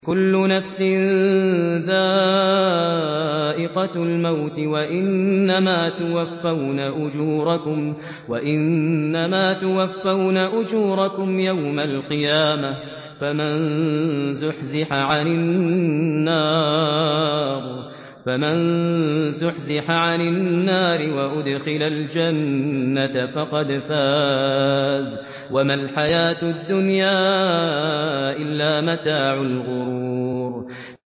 كُلُّ نَفْسٍ ذَائِقَةُ الْمَوْتِ ۗ وَإِنَّمَا تُوَفَّوْنَ أُجُورَكُمْ يَوْمَ الْقِيَامَةِ ۖ فَمَن زُحْزِحَ عَنِ النَّارِ وَأُدْخِلَ الْجَنَّةَ فَقَدْ فَازَ ۗ وَمَا الْحَيَاةُ الدُّنْيَا إِلَّا مَتَاعُ الْغُرُورِ